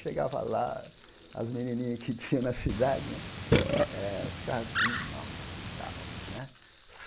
Chegava lá, as menininha que tinha na cidade né, eh ficava tudo, nossa, e tal. Né